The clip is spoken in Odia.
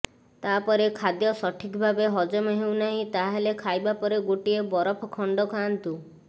ତାପରେ ଖାଦ୍ୟ ସଠିକଭାବେ ହଜମ ହେଉନାହିଁ ତାହାଲେ ଖାଇବା ପରେ ଗୋଟିଏ ବରଫ ଖଣ୍ଡ ଖାଆନ୍ତୁ